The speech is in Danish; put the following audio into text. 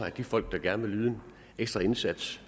at de folk der gerne vil yde en ekstra indsats